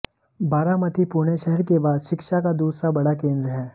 बारामती पुणे शहर के बाद शिक्षा का दूसरा बड़ा केंद्र है